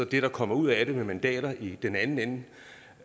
det der kommer ud af det med mandater i den anden ende